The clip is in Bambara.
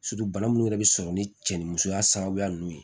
bana minnu yɛrɛ bɛ sɔrɔ ni cɛ ni musoya sababuya ninnu ye